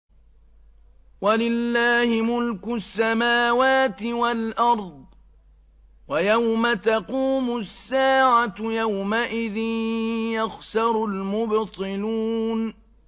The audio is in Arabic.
وَلِلَّهِ مُلْكُ السَّمَاوَاتِ وَالْأَرْضِ ۚ وَيَوْمَ تَقُومُ السَّاعَةُ يَوْمَئِذٍ يَخْسَرُ الْمُبْطِلُونَ